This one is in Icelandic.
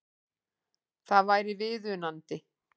Það væri viðunandi